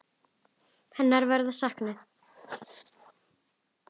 Hennar verður saknað.